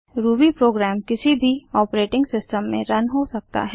Ruby program किसी भी operating system में रन हो सकता है